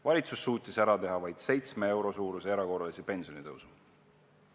Valitsus suutis ära teha vaid 7 euro suuruse erakorralise pensionitõusu.